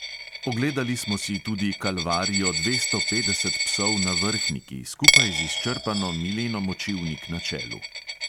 Ogledali smo si tudi kalvarijo dvesto petdeset psov na vrhniki, skupaj z izčrpano mileno močivnik na čelu.